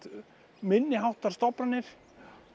minniháttar stofnanir